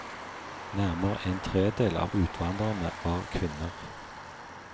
Nærmere en tredel av utvandrerne var kvinner.